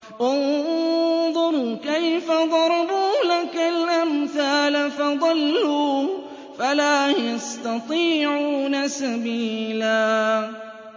انظُرْ كَيْفَ ضَرَبُوا لَكَ الْأَمْثَالَ فَضَلُّوا فَلَا يَسْتَطِيعُونَ سَبِيلًا